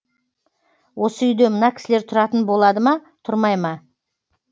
осы үйде мына кісілер тұратын болады ма тұрмай ма